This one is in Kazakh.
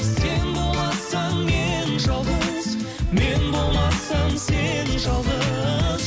сен болмасаң мен жалғыз мен болмасам сен жалғыз